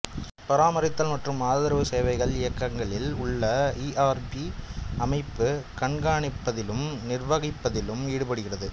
பராமரித்தல் மற்றும் ஆதரவு சேவைகள் இயக்கங்களில் உள்ள ஈஆர்பி அமைப்பை கண்காணிப்பதிலும் நிர்வகிப்பதிலும் ஈடுபடுகிறது